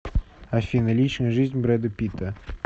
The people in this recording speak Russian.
афина личная жизнь брэда питта